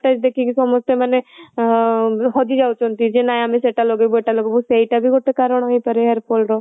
ଦେଖିକି ସମସ୍ତେ ମାନେ ଅଁ ହଜିଯାଉଛନ୍ତି ଯେ ନାଇଁ ଆମେ ସେ ଟା ଲଗେଇବୁ ଏଟା ଲଗେଇବୁ ସେଇଟା ବି ଗୋଟେ କାରଣ ହେଇପାରିବ hairfall ର